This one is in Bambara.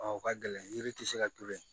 Ɔ o ka gɛlɛn yiri tɛ se ka to yen